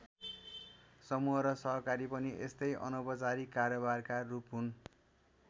समूह र सहकारी पनि यस्तै अनौपचारिक कारोबारका रूप हुन्।